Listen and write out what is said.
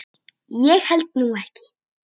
Ég held nú ekki!